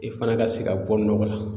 I fana ka se ka bɔ nɔgɔ la